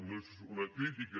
no és una crítica